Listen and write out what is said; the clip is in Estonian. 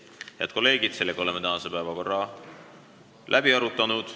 Head kolleegid, oleme tänase päevakorra läbi arutanud.